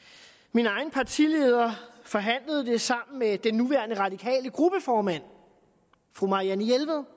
min egen partileder forhandlede det sammen med den nuværende radikale gruppeformand fru marianne jelved